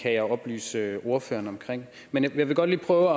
kan jeg oplyse ordføreren om men jeg vil godt lige prøve